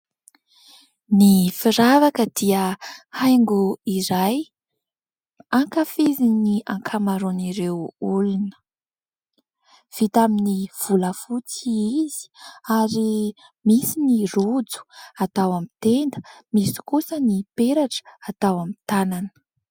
Ny firavaka dia haingo iray ankafizin'ireo olona. Vita amin'ny volafotsy izy ary misy ny rojo atao amin'ny tenda, misy kosa ny peratra atao amin'ny tanana.